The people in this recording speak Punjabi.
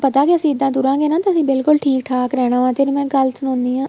ਪਤਾ ਕੇ ਅਸੀਂ ਇੱਦਾਂ ਤੁਰਾਗੇ ਨਾ ਤਾਂ ਅਸੀਂ ਬਿਲਕੁਲ ਠੀਕ ਠਾਕ ਰਹਿਣਾ ਤੈਨੂੰ ਮੈਂ ਇੱਕ ਗੱਲ ਸੁਣਾਣੀ ਆ